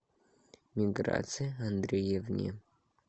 миграции андреевне